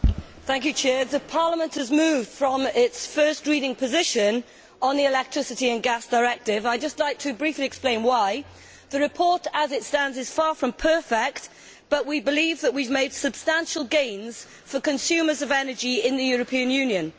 Mr President, Parliament has moved from its first reading position on the Electricity and Gas Directive. I would just like briefly to explain why. The report as it stands is far from perfect, but we believe that we have made substantial gains for energy consumers in the European Union.